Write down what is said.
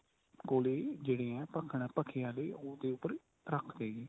ਕੋਲੇ ਜਿਹੜੇ ਆ ਭਖੇ ਆਲੇ ਉਹਦੇ ਉੱਪਰ ਰੱਖ ਤੇ ਨੇ